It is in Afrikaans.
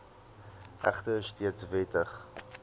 egter steeds wettig